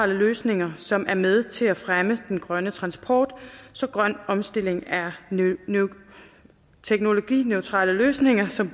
løsninger som er med til at fremme den grønne transport så grøn omstilling er teknologineutrale løsninger som